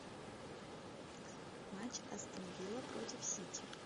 матч астон вилла против сити